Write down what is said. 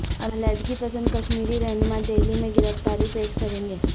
علیحدگی پسند کشمیری رہنما دہلی میں گرفتاری پیش کریں گے